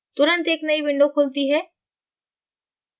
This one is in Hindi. तुरंत एक नयी window खुलती है